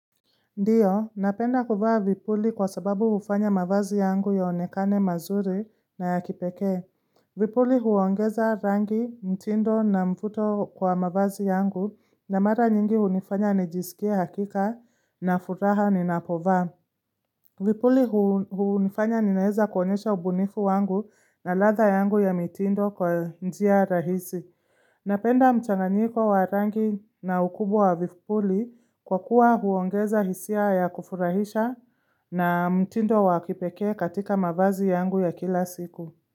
Ndiyo, napenda kuvaa vipuli kwa sababu hufanya mavazi yangu yaonekane mazuri na ya kipekee. Vipuli huongeza rangi, mtindo na mfuto kwa mavazi yangu na mara nyingi hunifanya nijisikie hakika na furaha ninapovaa. Vipuli huunifanya ninaweza kuonyesha ubunifu wangu na ladha yangu ya mtindo kwa njia rahisi. Napenda mchanganyiko wa rangi na ukubwa wa vipuli kwa kuwa huongeza hisia ya kufurahisha na mtindo wa kipekee katika mavazi yangu ya kila siku.